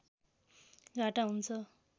घाटा हुन्छ